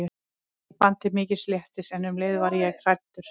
Ég fann til mikils léttis en um leið var ég hrædd.